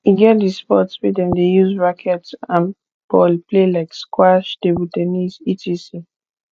e get di sports wey dem de use racket and ball play like squash table ten nis etc